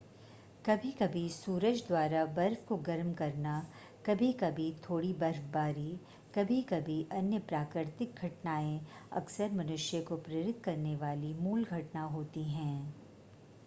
कभी-कभी सूरज द्वारा बर्फ़ को गर्म करना कभी-कभी थोड़ी बर्फ़बारी कभी-कभी अन्य प्राकृतिक घटनाएं अक्सर मनुष्य को प्रेरित करने वाली मूल घटना होती हैं